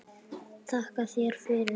Þakka þér fyrir það.